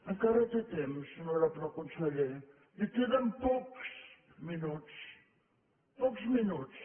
encara té temps honorable conseller li queden pocs minuts pocs minuts